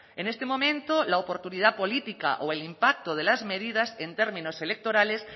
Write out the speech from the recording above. en este momento la oportunidad política o el impacto de las medidas en términos electorales